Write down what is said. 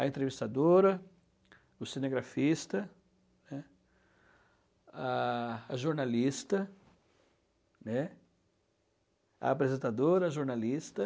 A entrevistadora, o cinegrafista, a jornalista, a apresentadora, a jornalista.